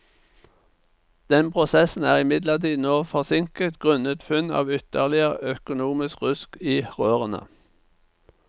Den prosessen er imidlertid nå forsinket grunnet funn av ytterligere økonomisk rusk i rørene.